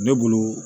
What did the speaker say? Ne bolo